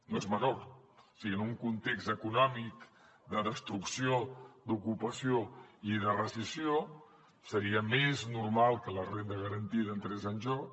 no és menor o sigui en un context econòmic de destrucció d’ocupació i de recessió seria més normal que la renda garantida entrés en joc